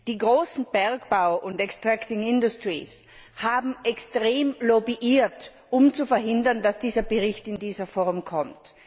Die großen Bergbauunternehmen und extracting industries haben extrem lobbyiert, um zu verhindern, dass dieser Bericht in dieser Form kommt.